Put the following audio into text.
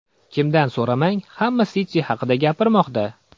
Kimdan so‘ramang, hamma City haqida gapirmoqda.